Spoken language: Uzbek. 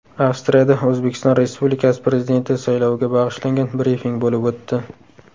Avstriyada O‘zbekiston Respublikasi Prezidenti sayloviga bag‘ishlangan brifing bo‘lib o‘tdi.